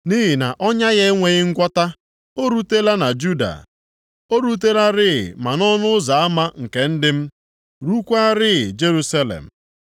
Nʼihi na ọnya ya enweghị ngwọta, o rutela na Juda. O rutelarị ma nʼọnụ ụzọ ama nke ndị m, rukwaarị Jerusalem.